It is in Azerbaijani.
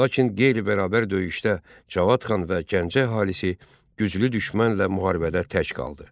Lakin qeyri-bərabər döyüşdə Cavad xan və Gəncə əhalisi güclü düşmənlə müharibədə tək qaldı.